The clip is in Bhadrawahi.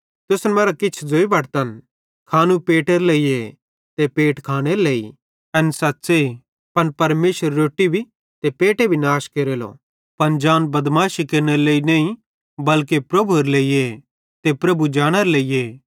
तुसन मरां किछ ज़ोई बटतन खानू पेटेरे लेइए ते पेट खानेरे लेइ एन सच़्च़े पन परमेशर रोट्टी भी ते पेटे भी नाश केरेलो पन जिसम बदमाशी केरनेरे लेइ नईं बल्के प्रभुएरे लेइए ते प्रभु जिसमेरे लेइए